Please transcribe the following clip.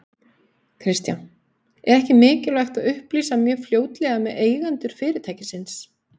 Kristján: Er ekki mikilvægt að upplýsa mjög fljótlega með eigendur fyrirtækisins?